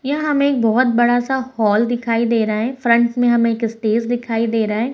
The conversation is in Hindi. यहाँ हमें एक बहुत बड़ा-सा हॉल दिखाई दे रहे हैं फ्रंट में हमें एक स्पेस दिखाई दे रहे हैं |